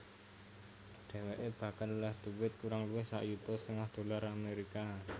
Dhèwèké bakal olèh dhuwit kurang luwih sak yuta setengah dolar Amerika